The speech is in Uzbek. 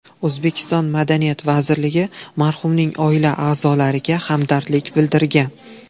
O‘zbekiston madaniyat vazirligi marhumning oila a’zolariga hamdardlik bildirgan.